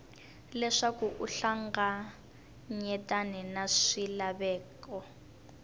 leswaku u hlanganyetane na swilaveko